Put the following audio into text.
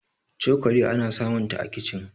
cokali ana samunta a kicin